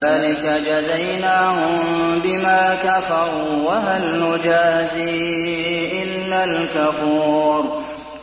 ذَٰلِكَ جَزَيْنَاهُم بِمَا كَفَرُوا ۖ وَهَلْ نُجَازِي إِلَّا الْكَفُورَ